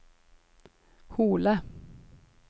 Hole